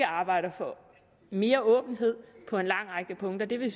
arbejder for mere åbenhed på en lang række punkter det vil